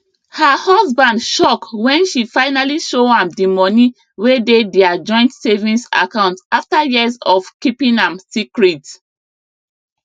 her husband shock when she finally show am the money wey dey their joint savings account after years of keeping am secret